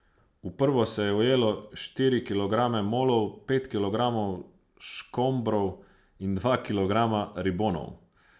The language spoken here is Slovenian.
V prvo se je ujelo štiri kilograme molov, pet kilogramov škombrov in dva kilograma ribonov.